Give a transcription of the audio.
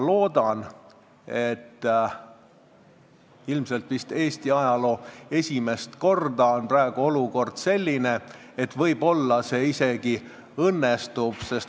Ja ilmselt vist Eesti ajaloos esimest korda on olukord praegu selline, et võib-olla see isegi õnnestub.